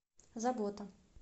забота